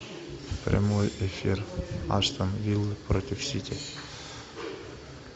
прямой эфир астон виллы против сити